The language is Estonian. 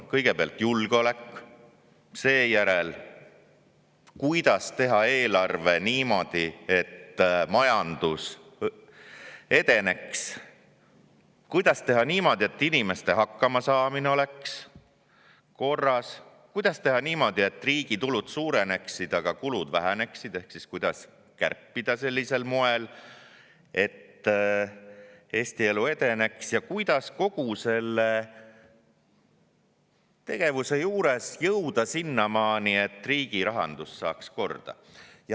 Kõigepealt julgeolek, seejärel, kuidas teha eelarvet niimoodi, et majandus edeneks, kuidas teha niimoodi, et inimeste hakkamasaamine oleks korras, kuidas teha niimoodi, et riigi tulud suureneksid, aga kulud väheneksid, ehk kuidas kärpida sellisel moel, et Eesti elu edeneks, ja kuidas kogu selle tegevusega jõuda sinnamaani, et riigi rahandus saaks korda.